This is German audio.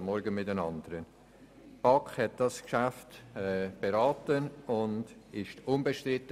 der BaK. Die BaK hat das Geschäft beraten und es war unbestritten.